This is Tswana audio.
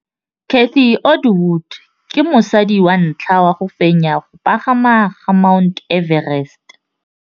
Cathy Odowd ke mosadi wa ntlha wa go fenya go pagama ga Mt Everest.